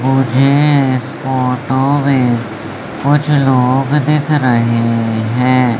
मुझे इस फोटो में कुछ लोग दिख रहे हैं।